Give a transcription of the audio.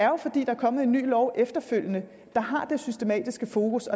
jo er fordi der er kommet en ny lov efterfølgende der har det systematiske fokus